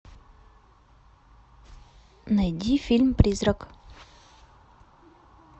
найди фильм призрак